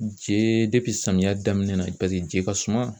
Je samiyɛ daminɛ paseke je ka suma